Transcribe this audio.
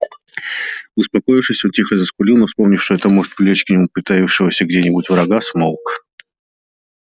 успокоившись он тихо заскулил но вспомнив что это может привлечь к нему притаившегося где нибудь врага смолк